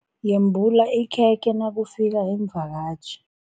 Yembula ikhekhe nakufika iimvakatjhi.